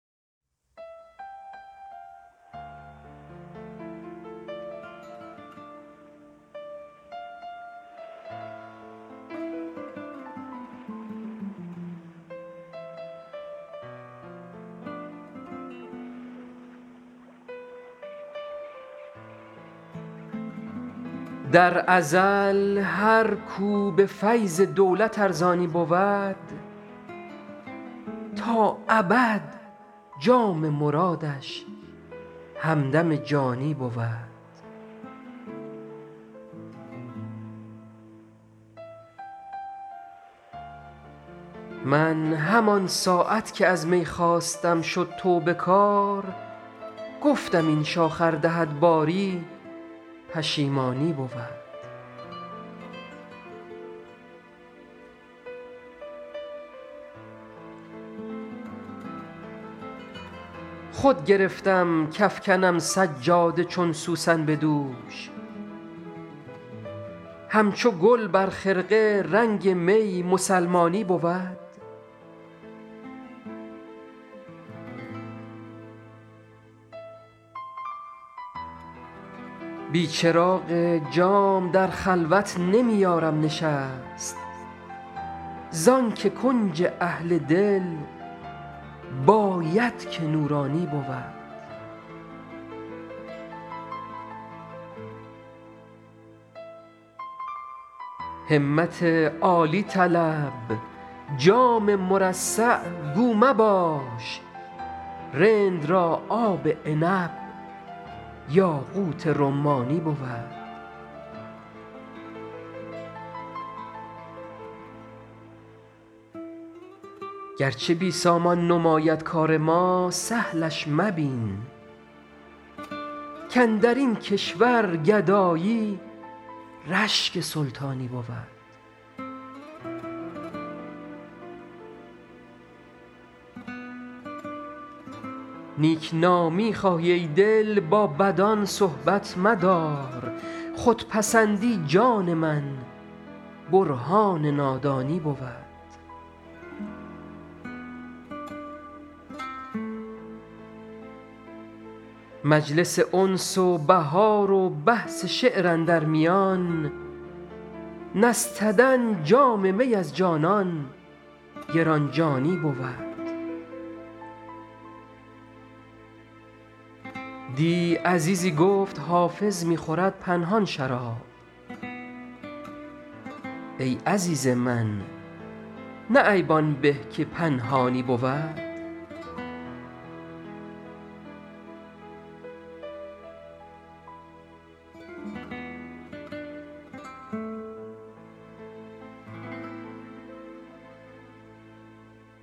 در ازل هر کو به فیض دولت ارزانی بود تا ابد جام مرادش همدم جانی بود من همان ساعت که از می خواستم شد توبه کار گفتم این شاخ ار دهد باری پشیمانی بود خود گرفتم کافکنم سجاده چون سوسن به دوش همچو گل بر خرقه رنگ می مسلمانی بود بی چراغ جام در خلوت نمی یارم نشست زان که کنج اهل دل باید که نورانی بود همت عالی طلب جام مرصع گو مباش رند را آب عنب یاقوت رمانی بود گرچه بی سامان نماید کار ما سهلش مبین کاندر این کشور گدایی رشک سلطانی بود نیک نامی خواهی ای دل با بدان صحبت مدار خودپسندی جان من برهان نادانی بود مجلس انس و بهار و بحث شعر اندر میان نستدن جام می از جانان گران جانی بود دی عزیزی گفت حافظ می خورد پنهان شراب ای عزیز من نه عیب آن به که پنهانی بود